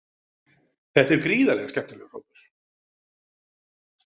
Þetta er gríðarlega skemmtilegur hópur.